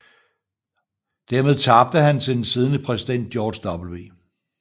Dermed tabte han til den siddende præsident George W